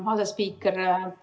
Hea asespiiker!